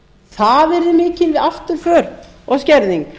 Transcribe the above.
það yrði mikil afturför og skerðing